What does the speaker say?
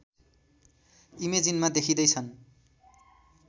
इमेजिनमा देखिँदै छन्